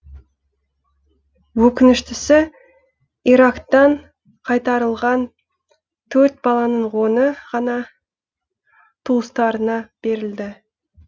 өкініштісі ирактан қайтарылған он төрт баланың оны ғана туыстарына берілді